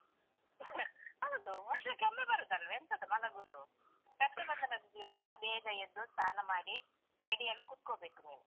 ಬೆಳಿಗ್ಗೆ ಎಬ್ಬಸಿ, . ಹೌದು ವರ್ಷಕ್ಕೆ ಒಮ್ಮೆ ಬರುದಲ್ವಾ ಎಂತದು ಮಲಗುದು. ರಕ್ಷಾಬಂಧನದ್ ದಿವಸ ಬೇಗ ಎದ್ದು ಸ್ನಾನ ಮಾಡಿ ready ಆಗಿ ಕೂತ್ಕೋಬೇಕು ನೀನು.